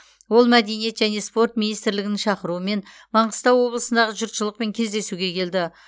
ол мәдениет және спорт министрлігінің шақыруымен маңғыстау облысындағы жұртшылықпен кездесуге келді